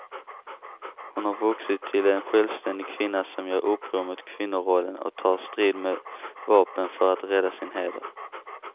Hon har vuxit till en självständig kvinna som gör uppror mot kvinnorollen och tar strid med vapen för att rädda sin heder.